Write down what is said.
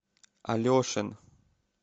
алешин